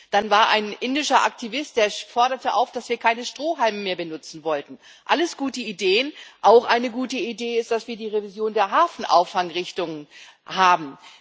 Dann war da ein indischer Aktivist, der forderte dazu auf, dass wir keine Strohhalme mehr benutzen sollten alles gute Ideen. Auch eine gute Idee ist, dass wir die Revision der Hafenauffangrichtlinie haben.